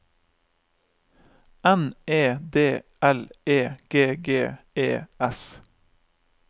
N E D L E G G E S